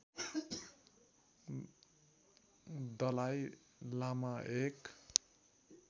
दलाई लामा एक